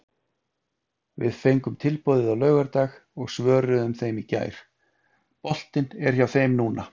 Við fengum tilboðið á laugardag og svöruðum þeim í gær, boltinn er hjá þeim núna.